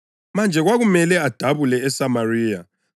Manje kwakumele adabule eSamariya.